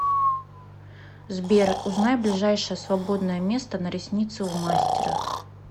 сбер узнай ближайшее свободное место на ресницы у мастера